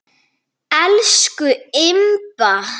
Elsku Imba.